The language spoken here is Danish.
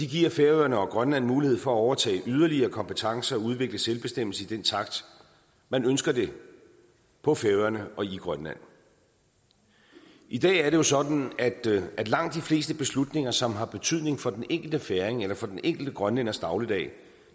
giver færøerne og grønland mulighed for at overtage yderligere kompetencer og udvikle selvbestemmelse i den takt man ønsker det på færøerne og i grønland i dag er det jo sådan at langt de fleste beslutninger som har betydning for den enkelte færing eller den enkelte grønlænders dagligdag